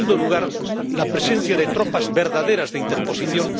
En segundo lugar, la presencia de tropas verdaderas de interposición.